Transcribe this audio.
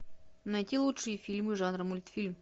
найти лучшие фильмы жанра мультфильм